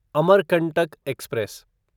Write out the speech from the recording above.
Amarkantak express